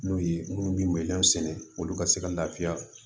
N'o ye minnu bɛ sɛnɛ olu ka se ka lafiya